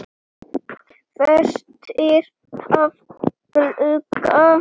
Fæstir hafa glugga.